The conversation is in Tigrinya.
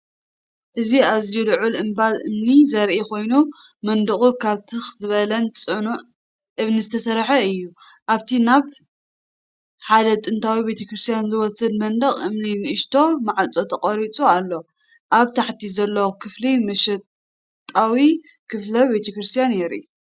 እዚ ኣዝዩ ልዑል እምባ እምኒ ዘርኢ ኮይኑ፡መንደቑ ካብ ትኽ ዝበለን ጽኑዕን እምኒ ዝተሰርሐ እዩ። ኣብቲ ናብ ሓደ ጥንታዊ ቤተ ክርስቲያን ዝወስድ መንደቕ እምኒ ንእሽቶ ማዕጾ ተቐሪጹ ኣሎ። ኣብ ታሕቲ ዘሎ ክፍሊ ውሽጣዊ ክፍሊ ቤተ ክርስቲያን የርኢ።